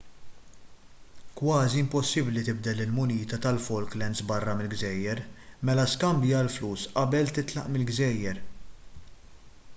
kważi impossibbli tibdel il-munita tal-falklands barra mill-gżejjer mela skambja l-flus qabel titlaq mill-gżejjer